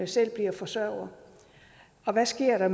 selv bliver forsørger hvad sker